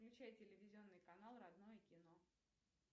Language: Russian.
включай телевизионный канал родное кино